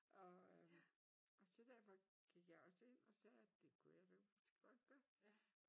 Og øh og så da jeg var gik jeg også ind og sagde at det kunne jeg da godt gøre